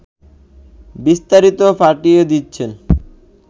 বিস্তারিত পাঠিয়ে দিচ্ছেন